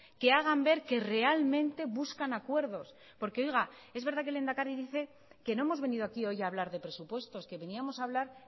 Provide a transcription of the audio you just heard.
que hagan ver que realmente buscan acuerdos porque oiga es verdad que el lehendakari dice que no hemos venido aquí hoy a hablar de presupuestos que veníamos a hablar